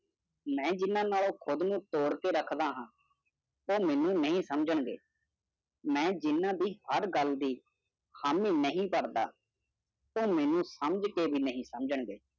ਮੈਂ ਜਿਨਾ ਨਾਲੋਂ ਕੁੜ੍ਹ ਨੂੰ ਤੋੜ ਕੇ ਰੱਖਦਾ ਹਾਂ ਉਹ ਮੇਨੂ ਨਹੀਂ ਸਮਜਨ ਗੇ ਮੈਂ ਜਿਨ੍ਹਾਂ ਦੀ ਹਰ ਗੱਲ ਦੀ ਹਾਮੀ ਨਹੀਂ ਕਰਦਾ ਉਹ ਮੈਨੂੰ ਸਮਝ ਕੇ ਭੀ ਨਹੀਂ ਸਮਝਣ ਗੇ